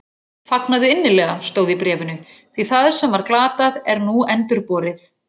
Fagnaðu innilega, stóð í bréfinu, því það sem var glatað er nú endurborið